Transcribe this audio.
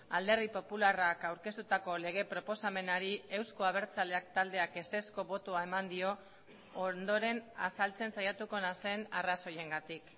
alderdi popularrak aurkeztutako lege proposamenari eusko abertzaleak taldeak ezezko botoa eman dio ondoren azaltzen saiatuko naizen arrazoiengatik